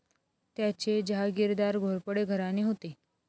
त्याचे जहागीरदार घोरपडे घराणे होते.